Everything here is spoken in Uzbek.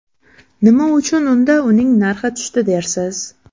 Nima uchun unda uning narxi tushdi dersiz?